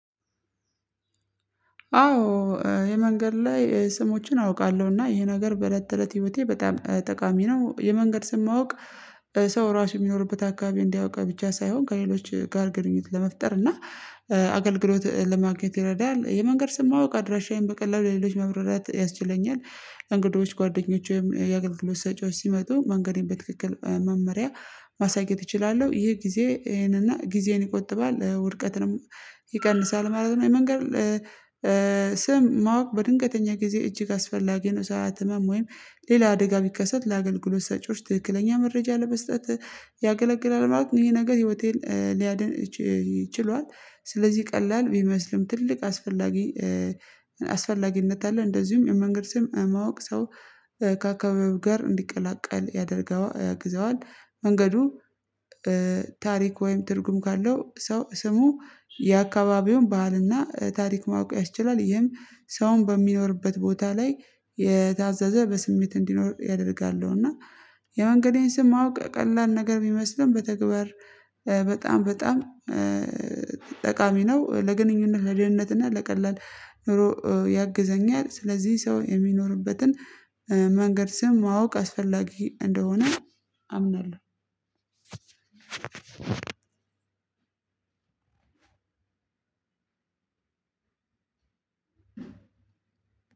አዎ የመንገድ ላይ ስሞችን አውቃለሁና ይሄ ነገር በለተለት ህይወቴ በጣም ጠቃሚ ነው የመንገድ ስም ማውቅ ሰው ራሱ የሚኖርበት አከባቢ እንዲያውቅ ብቻ ሳይሆን ከሌሎች ጋር ግንኙነት ለመፍጠር እና አገልግሎት ለማግኘት ይረዳል። የመንገድ ስም ማወቅ አድራሻዬን በቀላሉ ለሌሎች መብራራት ያስችለኛል። እንግዶች ጓደኞች ወይም የአግልግሎት ሰጪዎች ሲመጡ መንገዴን በትክክል መመሪያ ማሳየት እችላለው። ይሄ ጊዜ ይሄንን እና ጊዜን ይቆጥባል ውድቀትንም ይቀንሳል ማለት ነው። የመንገድ ስም ማወቅ በድንገተኛ ጊዜ እጅግ አስፈላጊ ነው። ሰዓት ህመም ወይም ሌላ አደጋ ቢከሰት ለአገልግሎት ሰጪዎች ትክክለኛ መረጃ ለመስጠት ያገለግላል ማለት ነው። ይሄ ነገር ህይወቴን ሊያድን ችሏል። ስለዚህ ቀላል ቢመስልም ትልቅ አስፈላጊ አስፈላጊነት አለ እንደዚሁም የመንገድ ስም ማወቅ ሰው ከአካባቢው ጋር እንዲቀላቀል ያደርገዋል ያግዘዋል መንገዱ ታሪክ ወይም ትርጉም ካለው ሰው ስሙ የአከባቢውን ባህልና ታሪክ ማወቅ ያስችላል። ይህም ሰውን በሚኖርበት ቦታ ላይ የታዘዘ በስሜት እንዲኖር ያደርጋሉ እና ያው አንግዲህ ስም ማወቅ ቀላል ነገር ብመስልም በተግባር በጣም በጣም ጠቃሚ ነው። ለግንኙነት ለደህንነት እና ለቀላል ኑሮ ያግዘኛል ስለዚህ ሰው የሚኖርበትን መንገድ ስም ማወቅ አስፈላጊ እንደሆነ አምናለሁ።